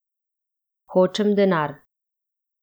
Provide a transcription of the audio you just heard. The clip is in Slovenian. Hočem denar.